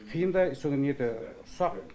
қиын да содан кейін это ұсақ